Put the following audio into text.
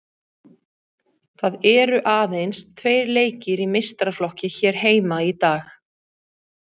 Það eru aðeins tveir leikir í meistaraflokki hér heima í dag.